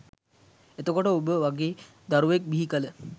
එතකොට ඔබ වගේ දරුවෙක් බිහි කල